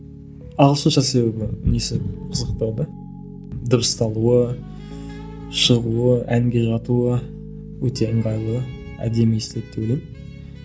ағылшынша себебі несі қызықтырады дыбысталуы шығуы әнге жатуы өте ыңғайлы әдемі естіледі деп ойлаймын